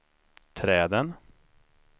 träden